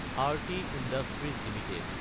Arati industries Ltd